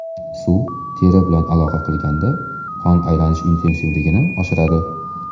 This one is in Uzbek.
Suv teri bilan aloqa qilganda qon aylanish intensivligini oshiradi.